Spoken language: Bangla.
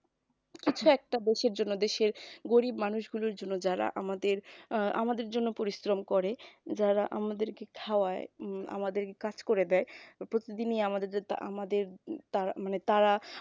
আচ্ছা একটা দেশের জন্য দেশের গরীব মানুষগুলোর জন্য যারা আমাদের আহ আমাদের জন্য পরিশ্রম করে যারা আমাদেরকে খাওয়ায় উম আমাদেরকে কাজ করে দেয় প্রতিদিনই আমাদের তারা